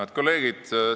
Head kolleegid!